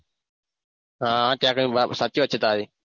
હા ત્યાં આગળ સાચી વાત છે તારી